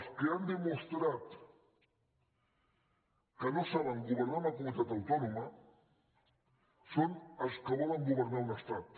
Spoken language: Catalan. els que han demostrat que no saben governar una comunitat autònoma són els que volen go vernar un estat